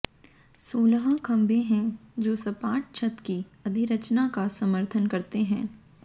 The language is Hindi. सोलह खंभे हैं जो सपाट छत की अधिरचना का समर्थन करते हैं